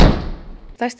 stærsti